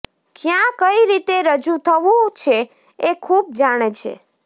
ક્યાં કઈ રીતે રજૂ થવું છે એ ખૂબ જાણે છે